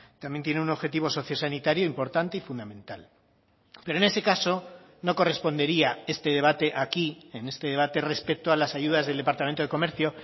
también tiene un objetivo socio sanitario importante y fundamental pero en ese caso no correspondería este debate aquí en este debate respecto a las ayudas del departamento de comercio